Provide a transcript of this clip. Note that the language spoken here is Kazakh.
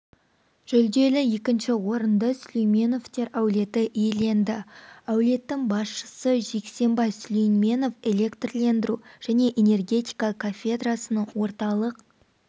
жүлделі екінші орынды сүлейменовтер әулеті иеленді әулеттің басшысы жексенбай сүлейменов электрлендіру және энергетика кафедрасының орталық